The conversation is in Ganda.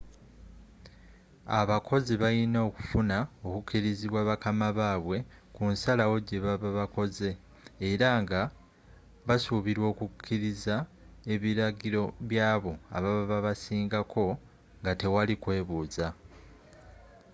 abakozi bayina okufuna okukirizibwa bakama babwe kunsalawo gyebaba bakoze era nga basubirwa okukiriza ebiragiro by'abo ababa babasingako nga tewali kubuza